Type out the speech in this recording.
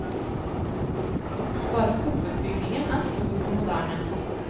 Bare hovedbygningen er stor og moderne.